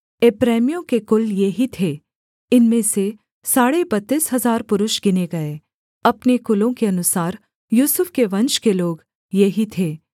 एप्रैमियों के कुल ये ही थे इनमें से साढ़े बत्तीस हजार पुरुष गिने गए अपने कुलों के अनुसार यूसुफ के वंश के लोग ये ही थे